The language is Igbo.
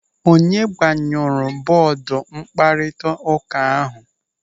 Onye gbanyụrụ bọọdụ mkparịta ụka ahụ?